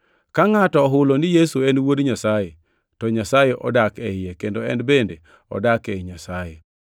Ka ngʼato ohulo ni Yesu en wuod Nyasaye, to Nyasaye odak e iye kendo en bende odak ei Nyasaye.